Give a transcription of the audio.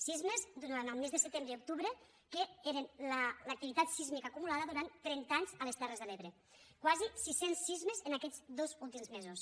sismes durant els mesos de setembre i octubre que eren l’activitat sísmica acumulada durant trenta anys a les terres de l’ebre quasi sis cents sismes en aquests dos últims mesos